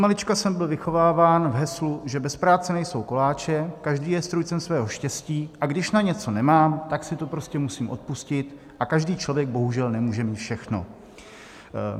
Odmalička jsem byl vychováván v heslu, že bez práce nejsou koláče, každý je strůjcem svého štěstí, a když na něco nemám, tak si to prostě musím odpustit, a každý člověk bohužel nemůže mít všechno.